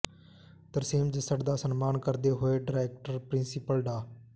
ਤਰਸੇਮ ਜੱਸੜ ਦਾ ਸਨਮਾਨ ਕਰਦੇ ਹੋਏ ਡਾਇਰੈਕਟਰ ਪ੍ਰਿੰਸੀਪਲ ਡਾ